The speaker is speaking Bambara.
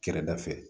Kɛrɛda fɛ